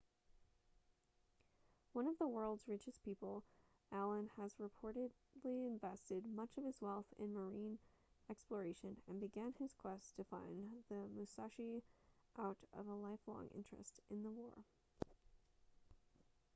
one of the world's richest people allen has reportedly invested much of his wealth in marine exploration and began his quest to find the musashi out of a lifelong interest in the war